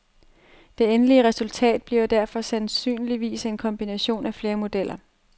Det endelige resultat bliver derfor sandsynligvis en kombination af flere modeller.